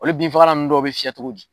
Olu binfagalan ninnu dɔw bɛ fiyɛ cogo di.